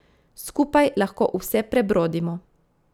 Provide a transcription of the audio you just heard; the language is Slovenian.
Skupaj lahko vse prebrodimo.